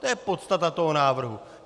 To je podstata toho návrhu.